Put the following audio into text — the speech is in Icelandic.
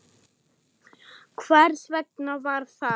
Hvers vegna var það?